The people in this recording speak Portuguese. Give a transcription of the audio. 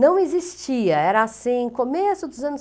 Não existia, era assim, começo dos anos.